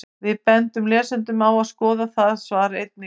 Við bendum lesendum á að skoða það svar einnig.